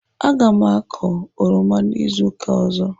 Aga m akọ oroma izu ụka ọzọ.